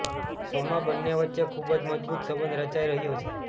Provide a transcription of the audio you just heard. શોમાં બંને વચ્ચે ખૂબ જ મજબૂત સંબંધ રચાઈ રહ્યો છે